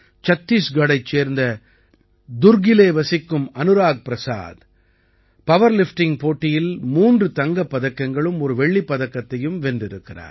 சத்தீஸ்கட்டைச் சேர்ந்த துர்க்கிலே வசிக்கும் அனுராக் பிரசாத் பவர்லிஃப்டிங்க் போட்டியில் மூன்று தங்கப் பதக்கங்களும் ஒரு வெள்ளிப் பதக்கத்தையும் வென்றிருக்கிறார்